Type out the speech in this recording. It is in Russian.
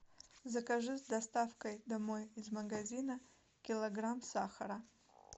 закажи с доставкой домой из магазина килограмм сахара